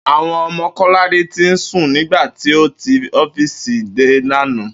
Àwo̩n o̩mo̩ Kó̩ládé ti sùn nígbà tí ó ti ó̩fíìsì dé lánàá